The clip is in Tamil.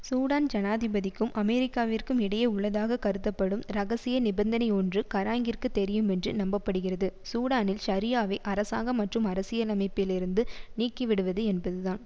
சூடான் ஜனாதிபதிக்கும் அமெரிக்காவிற்கும் இடையே உள்ளதாக கருதப்படும் இரகசிய நிபந்தனையொன்று கராங்கிற்கு தெரியுமென்று நம்ப படுகிறது சூடானில் ஷரியாவை அராசாங்க மற்றும் அரசியலமைப்பிலிருந்து நீக்கிவிடுவது என்பதுதான்